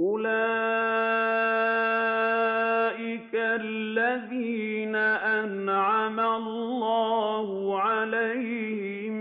أُولَٰئِكَ الَّذِينَ أَنْعَمَ اللَّهُ عَلَيْهِم